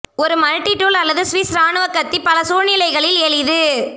ஒரு மல்டிட்டூல் அல்லது ஸ்விஸ் இராணுவ கத்தி பல சூழ்நிலைகளில் எளிது